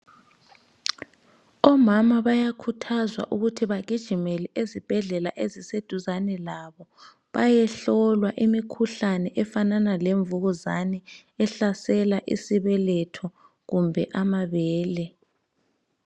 Omama bayakhuthazwa ukuthi bagijimele ezibhedlela eziseduzane labo bayehlolwa imikhuhlane efanana lemvukuzane ehlasela isibeletho kumbe amabele.